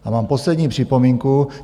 A mám poslední připomínku.